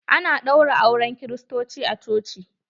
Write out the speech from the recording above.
Ana ɗaura auren kiristoci a coci.